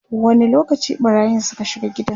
wani lokaci ɓarayin Suka shiga gidan?